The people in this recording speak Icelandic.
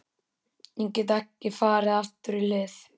Ég get ekki farið aftur í hlið